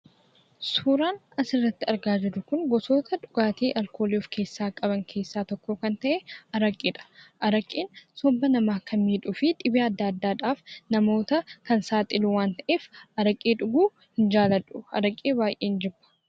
Suuraan asirratti argaa jirru gosoota dhugaatii alkoolii of keessaa qaban keessaa isa tokko kan ta'e araqeedha. Araqeen somba namaa kan miidhuu fi dhibee adda addaadhaaf kan namoota saaxilu waan ta'eef, araqee dhuguu hin jaalladhu; baay'een jibba.